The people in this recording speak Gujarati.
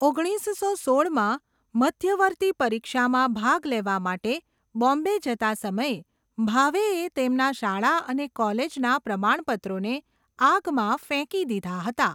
ઓગણીસસો સોળમાં, મધ્યવર્તી પરીક્ષામાં ભાગ લેવા માટે બોમ્બે જતા સમયે, ભાવેએ તેમના શાળા અને કોલેજના પ્રમાણપત્રોને આગમાં ફેંકી દીધા હતા.